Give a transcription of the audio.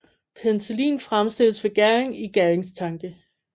Penicillin fremstilles ved gæring i gæringstanke